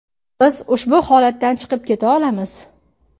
Biz ushbu holatdan chiqib keta olamiz.